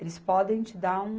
Eles podem te dar um...